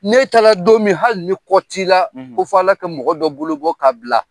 N'e taara don min hali ni kɔ t'i la, ko fɔ ala kɛ mɔgɔ dɔ bolo bɔ k'a bila.